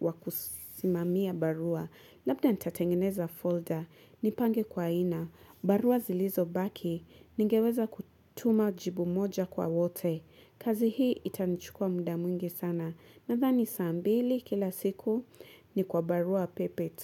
wakusimamia barua Labda nitatengeneza folder Nipange kwa ina barua zilizo baki Ningeweza kutuma jibu moja kwa wote Kazihi itanichukua mda mwingi sana Nadhani sambili kila siku Nikwa barua pepe tu.